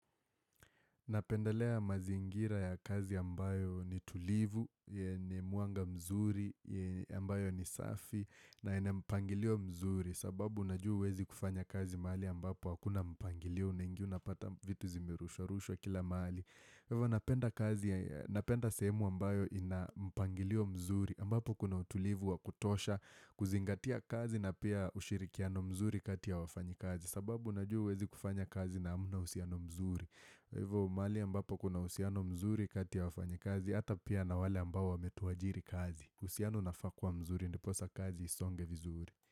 Napendelea mazingira ya kazi ambayo ni tulivu, ni mwanga mzuri, ambayo ni safi na ina mpangilio mzuri sababu unajuwa huwezi kufanya kazi mahali ambapo hakuna mpangilio unaingia unapata vitu zimerushwarushwa kila mahali. Napenda kazi, napenda sehemu ambayo ina mpangilio mzuri, ambapo kuna utulivu wa kutosha, kuzingatia kazi na pia ushirikiano mzuri kati ya wafanyikazi, sababu unajua huwezi kufanya kazi na hamna uhusiano mzuri. Kwa hivyo mahali ambapo kuna uhusiano mzuri kati ya wafanyikazi, hata pia na wale ambao wametuajiri kazi. Uhusiano unafaa kuwa mzuri, ndiposa kazi isonge vizuri.